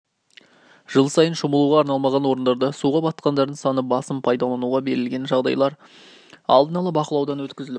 жыл сайын шомылуға арналмаған орындарда суға батқандардың саны басым пайдалануға берілген жағажайлар алдын ала бақылаудан өткізіліп